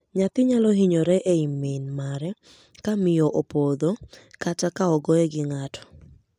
Nyathi nyalo hinyore ei min mare ka miyo opodho kata ka ogoye gi ng'ato.